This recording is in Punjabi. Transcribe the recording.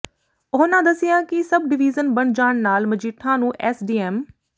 ਉਹਨਾਂ ਦੱਸਿਆ ਕਿ ਸਬ ਡਿਵੀਜ਼ਨ ਬਣ ਜਾਣ ਨਾਲ ਮਜੀਠਾ ਨੂੰ ਐਸੇ ਡੀ ਐਮ